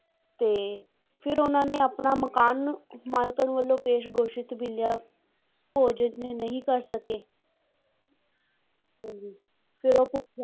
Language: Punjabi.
ਤੇ ਫਿਰ ਉਹਨਾਂ ਨੇ ਆਪਣਾ ਮਕਾਨ ਮਾਲਕਣ ਵੱਲੋਂ ਪੇਸ਼ ਗੋਸ਼ਤ ਮਿਲਿਆ ਭੋਜਨ ਨਹੀਂ ਕਰ ਸਕੇ ਹਾਂਜੀ ਫਿਰ ਉਹ ਭੁੱਖੇ